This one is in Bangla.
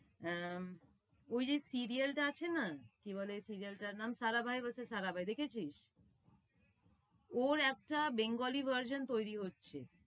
অ্যা~ ঐ যে serial টা আছে না, কি বলে serial টার নাম? Sarabhai versus Sarabhai দেখেছিস? ওর আচ্ছা bangali version তৈরী হচ্ছে।